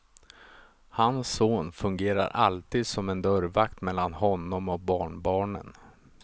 Hans son fungerar alltid som en dörrvakt mellan honom och barnbarnen.